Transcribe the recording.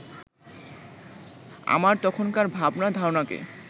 আমার তখনকার ভাবনা-ধারণাকে